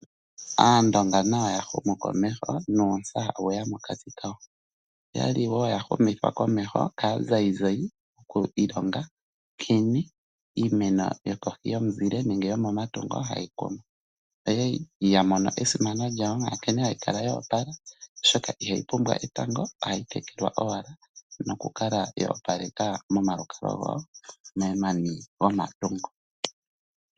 Aandonga nayo ya humu komeho nuutsa owe ya mokati kawo. Oya li wo ya humithwa komeho kaazayizayi oku ilonga nkene iimeno yokohi yomatungo nenge yomomuzile hayi kunwa. Oya li ya mono esimano lyawo ya nkene hayi kala yo opala, oshoka ihayi pumbwa etango ohayi tekelwa owala nokukala yo opaleka momalukalwa gawo momani gomatungo.